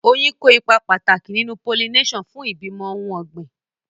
Oyin kó ipa pàtàkì nínú pollination fún ìbímọ ohun ọ̀gbìn.